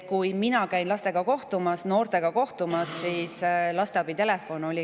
Mina olen laste ja noortega kohtumas käinud.